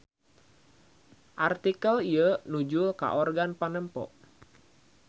Artikel ieu nujul ka organ panempo.